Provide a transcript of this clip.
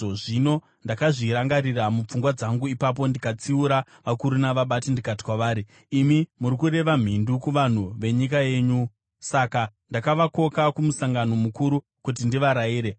Zvino ndakazvirangarira mupfungwa dzangu ipapo ndikatsiura vakuru navabati ndikati kwavari, “Imi muri kureva mhindu kuvanhu venyika yenyu!” Saka ndakavakoka kumusangano mukuru kuti ndivarayire